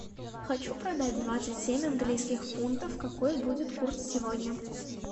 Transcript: хочу продать двадцать семь английских фунтов какой будет курс сегодня